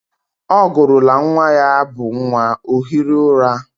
Ọ gụrụla nwa ya abụ nwa, ọ hiri ụra.